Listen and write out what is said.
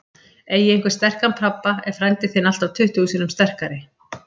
Eigi einhver sterkan pabba er frændi þinn alltaf tuttugu sinnum sterkari.